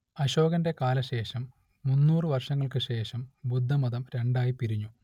അശോകന്റെ കാലശേഷം മുന്നൂറ് വർഷങ്ങൾക്ക് ശേഷം ബുദ്ധമതം രണ്ടായി പിരിഞ്ഞു